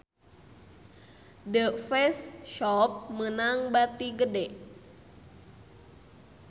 The Face Shop meunang bati gede